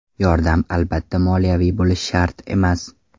Yordam albatta moliyaviy bo‘lishi shart emas.